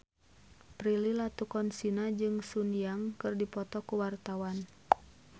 Prilly Latuconsina jeung Sun Yang keur dipoto ku wartawan